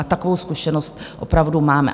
A takovou zkušenost opravdu máme.